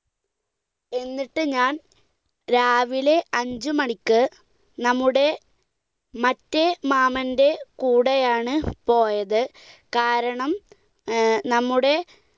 എന്നിട്ട് ഞാൻ രാവിലെ അഞ്ചുമണിക്ക് നമ്മുടെ മറ്റേ മാമന്റെ കൂടെയാണ് പോയത്, കാരണം ഏർ നമ്മുടെ